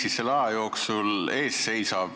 Mis selle aja jooksul ees seisab?